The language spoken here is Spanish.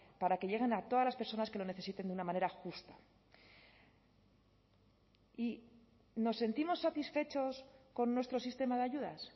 para que lleguen a todas las personas que lo necesiten de una manera justa y nos sentimos satisfechos con nuestro sistema de ayudas